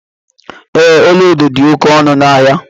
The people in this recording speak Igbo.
Ee, ọla edo dị oké ọnụ ahịa.